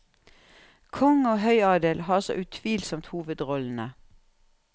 Konge og høyadel har så utvilsomt hovedrollene.